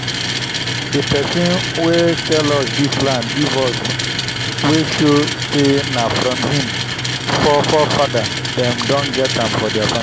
dey pesin wen sell us dis land give us wey show say nah from him fore fada dem don get am for thier family